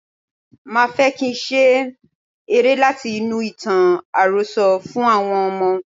Máa fẹ́ kín ṣe eré láti inú ìtàn àròsọ fún àwọn ọmọ.